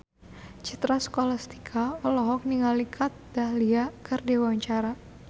Citra Scholastika olohok ningali Kat Dahlia keur diwawancara